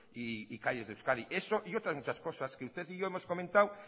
y calles de euskadi eso y otras muchas cosas que usted y yo hemos comentado